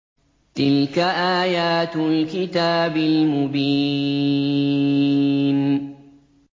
تِلْكَ آيَاتُ الْكِتَابِ الْمُبِينِ